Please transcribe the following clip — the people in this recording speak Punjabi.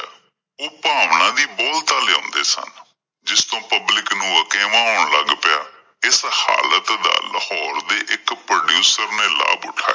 ਉਹ ਭਾਵਨਾ ਦੀ ਬਹੁਲਤਾਂ ਲਿਆਉਂਦੇ ਸਨ। ਜਿਸ ਤੋਂ public ਨੂੰ ਅਕੇਵਾਂ ਆਉਣ ਲੱਗ ਪਿਆ ਇਸ ਹਾਲਤ ਦਾ ਲਾਹੌਰ ਦੇ ਇੱਕ producer ਨੇ ਲਾਭ ਉਠਾਇਆ